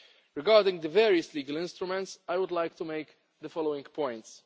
Regarding the various legal instruments, I would like to make the following points.